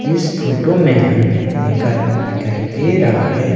इस फोटो में हमें एक आदमी दिखाई दे रहा है।